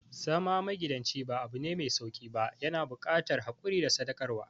Zama magidanci ba abune mai sauƙi ba, yana buƙatar haƙuri da sadaukarwa.